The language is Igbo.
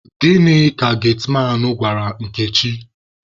Gịnị ka getiman gwara Nkechi?